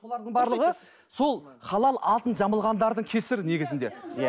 бұлардың барлығы сол халал атын жамылғандардың кесірі негізінде иә